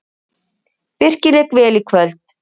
Birkir lék vel í kvöld.